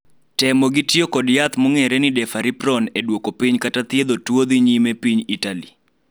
temo gi tiyo kod yath mong'ere ni "deferriprone" e duoko piny kata piedho tuo dhi nyime piny Itali